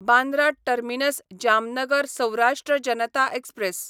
Bandra terminus Jamnagar Saurashtra Janata express